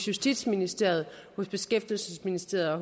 justitsministeriet beskæftigelsesministeriet og